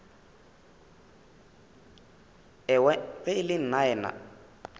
owe ge e le nnaena